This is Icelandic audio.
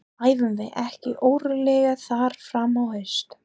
Æfum við ekki örugglega þar fram á haust?